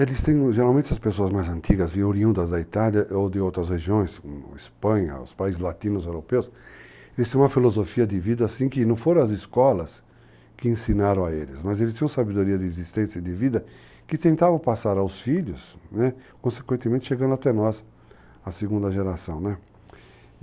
Eles têm, geralmente, as pessoas mais antigas, oriundas da Itália ou de outras regiões, como Espanha, os países latinos, europeus, eles têm uma filosofia de vida, assim, que não foram as escolas que ensinaram a eles, mas eles tinham sabedoria de existência e de vida que tentavam passar aos filhos, né, consequentemente chegando até nós, a segunda geração, né.